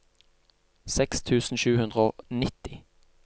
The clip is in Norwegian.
seks tusen sju hundre og nitti